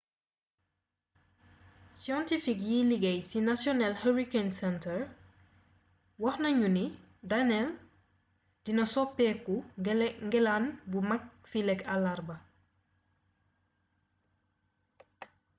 scientifique yiy liggéey ci national hurricane center wax nañu ni danielle dina sopeku ngelaane bu mag fileek àllarba